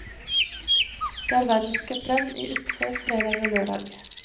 Det er verdenscuprenn i utfor fredag og lørdag.